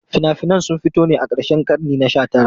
Fina-finan sun fito ne a karshen karni na 19.